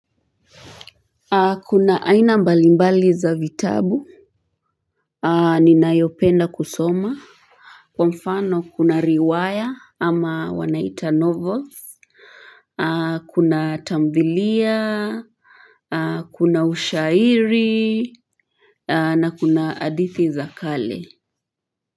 Kuna aina mbalimbali za vitabu. Ninayopenda kusoma. Kwa mfano kuna riwaya ama wanaita novels. Kuna tamthilia. Kuna ushairi. Na kuna hadithi za kale.